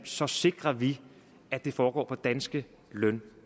så sikrer vi at det foregår på danske løn og